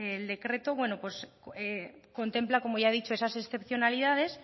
el decreto contempla como ya he dicho esas excepcionalidades